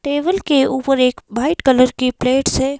Table के ऊपर एक भाइट कलर की प्लेट्स है।